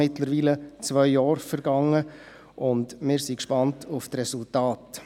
Mittlerweile sind ja zwei Jahre vergangen, und wir sind gespannt auf die Resultate.